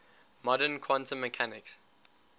modern quantum mechanics